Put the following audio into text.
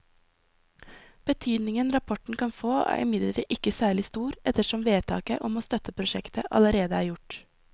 Betydningen rapporten kan få er imidlertid ikke særlig stor ettersom vedtaket om å støtte prosjektet allerede er gjort.